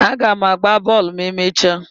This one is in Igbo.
Aga m agba bọọlụ ma emechaa.